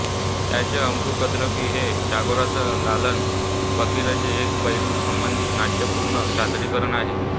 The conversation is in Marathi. त्यांचे अबु कुद्रती हे टागोरसह लालान फकीरचे एक पैलू संबंधित नाट्यपूर्ण सादरीकरण आहे